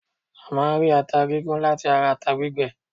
A máà ń rí ata gígún láti ata gbígbẹ.